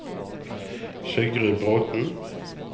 Sigrid Bråthen